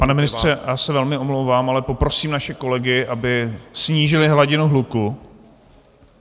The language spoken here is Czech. Pane ministře, já se velmi omlouvám, ale poprosím naše kolegy, aby snížili hladinu hluku.